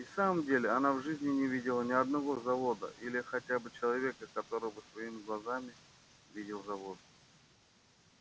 и в самом деле она в жизни не видела ни одного завода или хотя бы человека который бы своими глазами видел завод